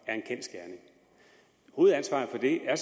er en kendsgerning hovedansvaret for det har